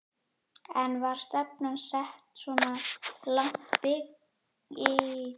En var stefnan sett svona langt í bikarnum?